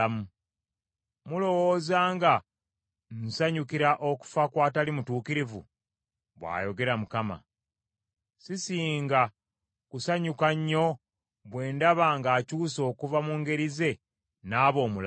Mulowooza nga nsanyukira okufa kw’atali mutuukirivu? Bw’ayogera Mukama . Sisinga kusanyuka nnyo bwe ndaba ng’akyuse okuva mu ngeri ze n’aba omulamu?